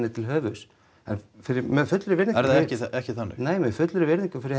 til höfuðs en með fullri virðingu er það ekki þannig nei með fullri virðingu fyrir